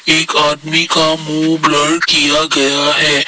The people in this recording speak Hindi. एक आदमी का मुंह ब्लर किया गया है।